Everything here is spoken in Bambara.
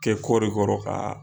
Kɛ kɔri kɔrɔ ka.